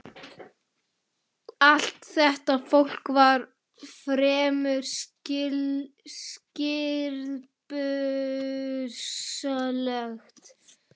Allt þetta fólk var fremur stirðbusalegt.